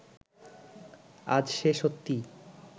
আজ সে সত্যিই